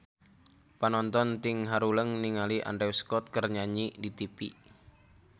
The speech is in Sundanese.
Panonton ting haruleng ningali Andrew Scott keur nyanyi di tipi